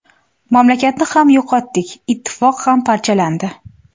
Mamlakatni ham yo‘qotdik, ittifoq ham parchalandi.